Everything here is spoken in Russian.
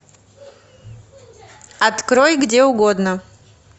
открой где угодно